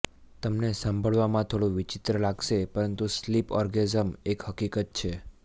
તમને સાંભળવામાં થોડું વિચિત્ર લાગશે પરંતુ સ્લીપ ઓર્ગેઝમ એક હકીકત છે